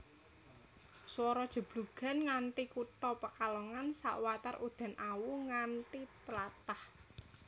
Swara jeblugan nganthi kutha Pekalongan sawatar udan awu nganthi tlatah